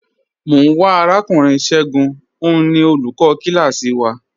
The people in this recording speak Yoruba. Mọ n wá Arakùnrin Ṣẹ̀gún, ọ̀un ni olúkò kílásí wà.